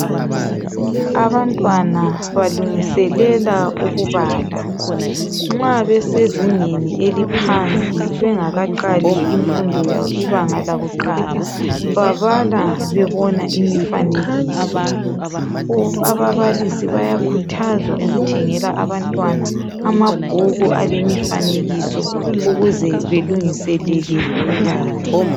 Abantwana balungiselela ukubala. Nxa besezingeni eliphansi. Bengakaqali imfundo, ibanga lakuqala. Babala, bebona imifanekiso. Ababalisi bayakhuthazwa ukuthengela abantwana amabhuku alemifanekiso. Ukuze belungiselele ukubala.